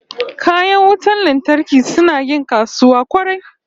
Kayan wutan lantarki suna yin kasuwa kwarai